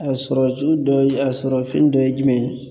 A sɔrɔ ju dɔ ye a sɔrɔ fɛn dɔ ye jumɛn ye?